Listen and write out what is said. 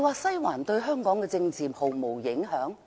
"西環"對香港政治真的毫無影響？